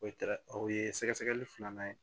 O ye o ye sɛgɛsɛgɛli filanan ye